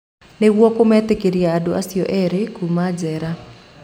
Nĩguo kũmetĩkĩria andũ acio erĩ kuuma njera.